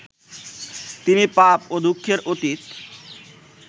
তিনি পাপ ও দুঃখের অতীত